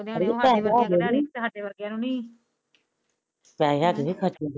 ਪੇਸੇ ਹਾਥ ਚੀ ਨਹੀ ਖਰਚ ਹੋਗੇ